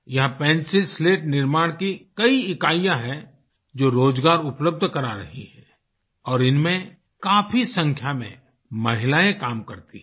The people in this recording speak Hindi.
यहाँ पेंसिल स्लेट निर्माण की कई इकाईयां हैं जो रोजगार उपलब्ध करा रही हैं और इनमें काफ़ी संख्या में महिलाएं काम करती हैं